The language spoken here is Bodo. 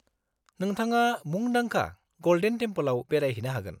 -नोंथङा मुंदांखा गलडेन टेमपोलआव बेरायहैनो हागोन।